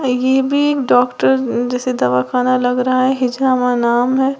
ये भी डॉक्टर जैसे दवा खाना लग रहा है हिजामा नाम है।